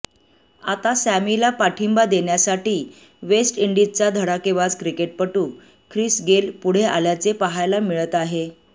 आता सॅमीला पाठिंबा देण्यासाठी वेस्ट इंडिजचा धकाडेबाज क्रिकेटपटू ख्रिस गेल पुढे आल्याचे पाहायला मिळत आहे